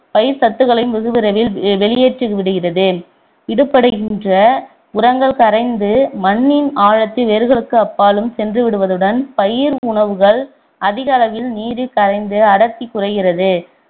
பயிர்ச்சத்துக்களையும் வெகு விரைவில் வெளியேற்றிவிடுகிறது உரங்கள் கரைந்து மண்ணின் ஆழத்தில் வேர்களுக்கு அப்பாலும் சென்று விடுவதுடன் பயிர் உணவுகள் அதிக அளவில் நீரில் கரைந்து அடர்த்தி குறைகிறது